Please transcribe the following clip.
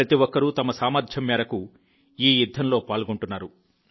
ప్రతి ఒక్కరూ తమ సామర్థ్యం మేరకు ఈ యుద్ధంలో పాల్గొంటున్నారు